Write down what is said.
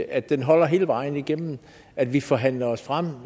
at den holder hele vejen igennem at vi forhandler os frem